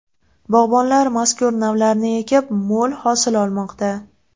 Bog‘bonlar mazkur navlarni ekib, mo‘l hosil olmoqda.